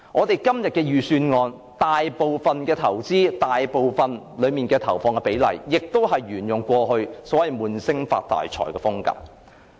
財政預算案內大部分的投資，亦是沿用過去"悶聲發大財"的風格。